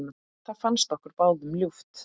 Það fannst okkur báðum ljúft.